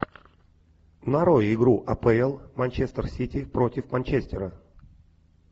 нарой игру апл манчестер сити против манчестера